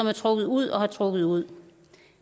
har trukket ud og trukket ud